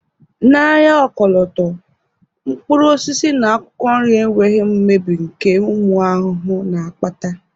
N'ahịa ọkọlọtọ, mkpụrụ osisi na akwụkwọ nri enweghị mmebi nke ụmụ ahụhụ na-akpata